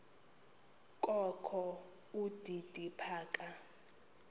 kokho udidi phaka